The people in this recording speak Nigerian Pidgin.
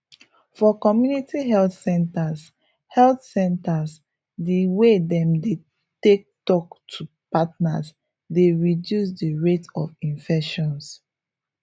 for community health centres health centres di way dem dey take talk to partners dey reduces di rate of infections